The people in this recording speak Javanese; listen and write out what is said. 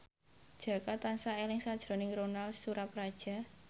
Jaka tansah eling sakjroning Ronal Surapradja